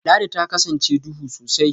Ladi ta kasance duhu sosai